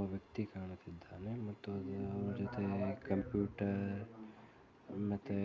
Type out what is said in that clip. ಒಬ್ಬ ವ್ಯಕ್ತಿ ಕಾಣುತಿದ್ದಾನೆ ಮತ್ತು ಕಂಪ್ಯೂಟರ್ ಮತ್ತು